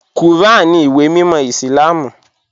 Kúràn ní ìwé mímọ̀ Islám.